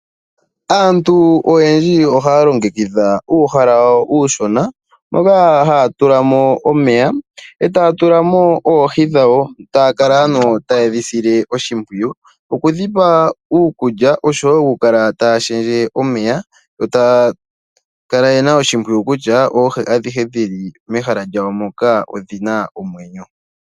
Aantu oyendji ohaya longekidha uuhala wawo uushona moka haya tula omeya. Ohaya tulamo oohi noku kala ta yedhi sile oshipwiyu okushendja omeya, oku dhipa iikulya noku kala taya tala ngele oohi adhihe dhili mehala mono odhina omwenyo.